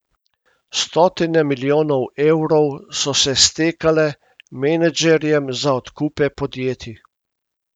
Stotine milijonov evrov so se stekale menedžerjem za odkupe podjetij.